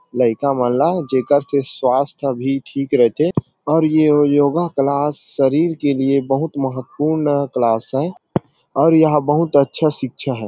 लईका मन ला जेकर से स्वास्थ्य भी ठीक रहथे और ये योगा क्लास शरीर के लिए बहुत महतवपूर्ण क्लास है और यह बहुत अच्छा शिक्षा हैं ।